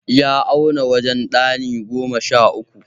Ya auna wajen ɗani goma sha uku.